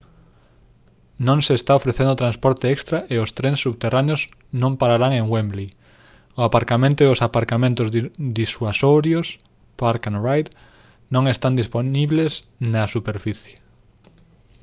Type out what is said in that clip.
non se está ofrecendo transporte extra e os trens subterráneos non pararán en wembley; o aparcamento e os aparcamentos disuasorios park-and-ride non están dispoñibles na superficie